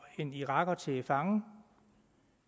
en iraker til fange